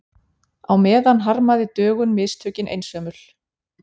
Á meðan harmaði Dögun mistökin einsömul.